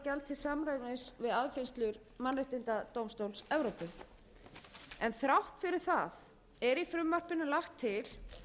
samræmis við afgreiðslu mannréttadómstóls evrópu þrátt fyrir það er í frumvarpinu lagt til